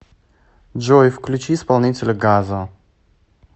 джой включи исполнителя газо